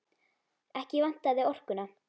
Ekki vantaði orkuna.